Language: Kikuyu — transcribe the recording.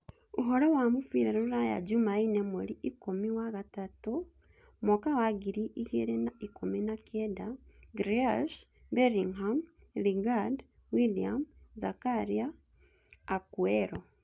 Ũhoro wa mũbira ruraya Jumaine mweri ikũmi wagatatũ mwaka wa ngiri igĩrĩ na ikũmi na kenda: Grealish, Bellingham, Lingard, Willian, Zakaria, Akuero